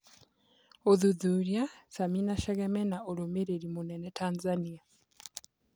ũthuthuria: Sami na Chege mena ũrũmĩ rĩ ri mũnene Tanzania.